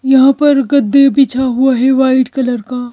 यहाँ पर गद्धे बिछा हुआ है वाइट कलर का--